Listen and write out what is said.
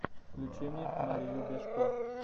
включи мне марию бежко